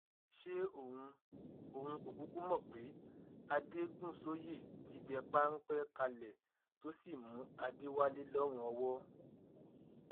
ṣé òun òun kò kúkú mọ pé adégúnsọyé ti dẹ páńpẹ kalẹ tó sì mú adéwálé lọrùn ọwọ